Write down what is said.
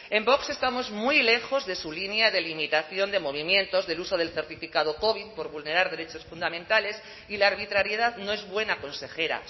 en vox estamos muy lejos de su línea de limitación de movimientos del uso del certificado covid por vulnerar derechos fundamentales y la arbitrariedad no es buena consejera